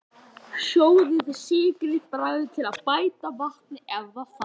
Sjóðið, sykrið, bragðið til og bætið við vatni ef þarf.